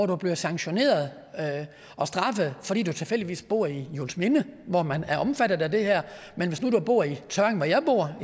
du bliver sanktioneret og straffet fordi du tilfældigvis bor i juelsminde hvor man er omfattet af det her men hvis nu du bor i tørring hvor jeg bor